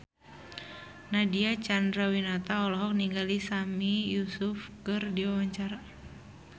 Nadine Chandrawinata olohok ningali Sami Yusuf keur diwawancara